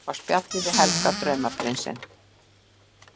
Á spjalli við Helga, draumaprinsinn!